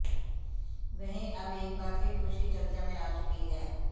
वहीं अब एक बार फिर खुशी चर्चा में आ चुकी हैं